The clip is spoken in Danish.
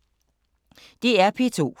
DR P2